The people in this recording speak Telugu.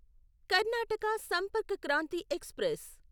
కర్ణాటక సంపర్క్ క్రాంతి ఎక్స్ప్రెస్